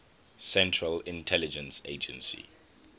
central intelligence agency